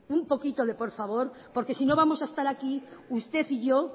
un poquito de por favor porque si no vamos a estar aquí usted y yo